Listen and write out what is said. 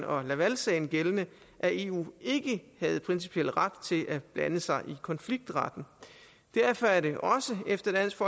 og lavalsagen gældende at eu ikke havde principiel ret til at blande sig i konfliktretten derfor er det efter dansk